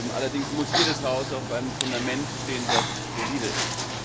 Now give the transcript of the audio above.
Allerdings muss jedes Haus auf einem Fundament stehen, das solide ist.